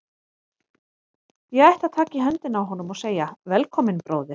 Ég ætti að taka í höndina á honum og segja: Velkominn, bróðir.